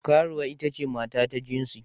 Karuwa ita ce mata ta jinsi.